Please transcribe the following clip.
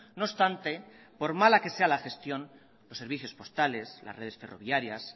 no obstante por mala que sea la gestión los servicios postales las redes ferroviarias